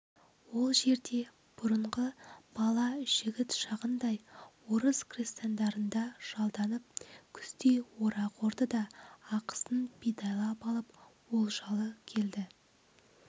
ол жерде бұрынғы бала жігіт шағындай орыс крестьяндарында жалданып күздей орақ орды да ақысын бидайлап алып олжалы келді